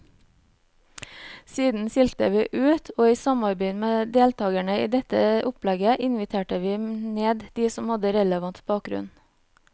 Siden silte vi ut, og i samarbeid med deltagerne i dette opplegget inviterte vi ned de som har relevant bakgrunn.